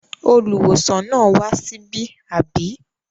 Olùwòsàn náà wá síbí, àbí?